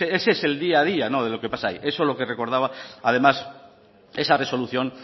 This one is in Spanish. ese es el día a día de lo que pasa ahí eso es lo que recordaba además esa resolución